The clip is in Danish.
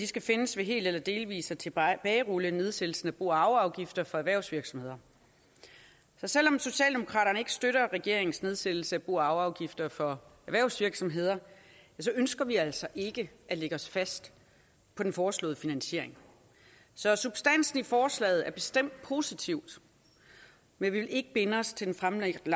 skal findes ved helt eller delvis at tilbagerulle nedsættelsen af bo og arveafgifter for erhvervsvirksomheder selv om socialdemokraterne ikke støtter regeringens nedsættelse af bo og arveafgifter for erhvervsvirksomheder ønsker vi altså ikke at lægge os fast på den foreslåede finansiering så substansen i forslaget er bestemt positiv men vi vil ikke binde os til den fremlagte